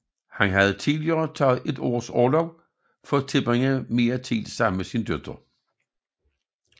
Han havde tidligere taget et års orlov for at tilbringe tid sammen med sin datter